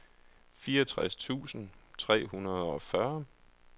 fireogtres tusind tre hundrede og fyrre